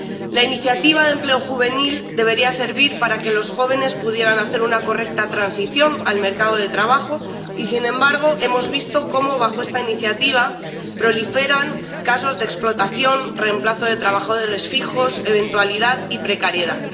La Iniciativa de Empleo Juvenil debería servir para que los jóvenes pudieran hacer una correcta transición al mercado de trabajo y, sin embargo, hemos visto cómo bajo esta Iniciativa proliferan casos de explotación, reemplazo de trabajadores fijos, eventualidad y precariedad.